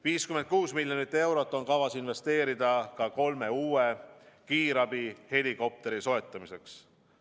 56 miljonit eurot on kavas investeerida ka kolme uue kiirabihelikopteri soetamiseks.